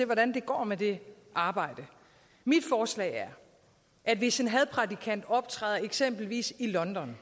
hvordan det går med det arbejde mit forslag er at hvis en hadprædikant optræder eksempelvis i london